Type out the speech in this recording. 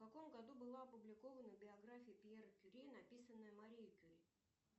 в каком году была опубликована биография пьера кюри написанная марией кюри